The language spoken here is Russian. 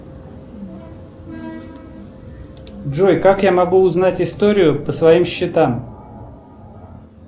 джой как я могу узнать историю по своим счетам